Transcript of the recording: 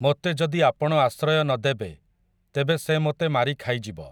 ମୋତେ ଯଦି ଆପଣ ଆଶ୍ରୟ ନ ଦେବେ, ତେବେ ସେ ମୋତେ ମାରି ଖାଇଯିବ ।